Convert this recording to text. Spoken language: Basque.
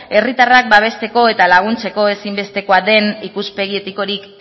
herritarrak babesteko eta laguntzeko ezinbestekoa den ikuspegi etikorik